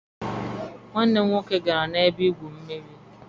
Nwanne m nwoke gara na-ebe igwụ mmiri.